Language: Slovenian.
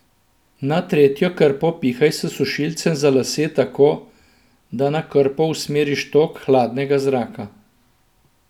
Na tretjo krpo pihaj s sušilcem za lase tako, da na krpo usmeriš tok hladnega zraka.